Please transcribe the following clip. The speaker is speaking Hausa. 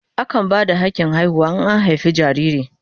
Akan ba da hakin haihuwa in an haife jariri.